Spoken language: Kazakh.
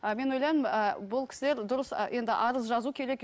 ы мен ойлаймын ы бұл кісілер дұрыс ы енді арыз жазу керек